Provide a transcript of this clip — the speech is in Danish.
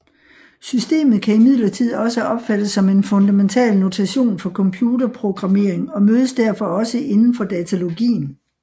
Systemet kan imidlertid også opfattes som en fundamental notation for computer programmering og mødes derfor også indenfor datalogien